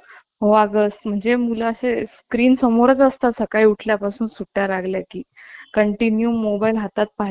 मस्त वाटायचं ना ते वाचायला